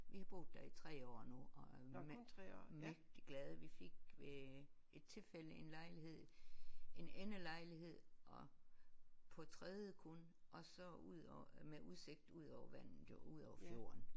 Vi har boet der i 3 år nu og er mægtig glade vi fik ved et tilfælde en lejlighed en endelejlighed og på tredje kun og så udover med udsigt udover vandet jo udover fjorden